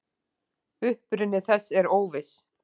Uppruni þess er óviss.